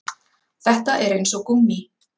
Þetta er eins og gúmmí